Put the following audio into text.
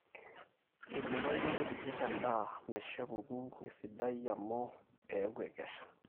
eibooyo nkujit endaa meisho epuku esidai amu eeku ekesha